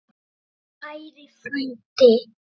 Kæri frændi.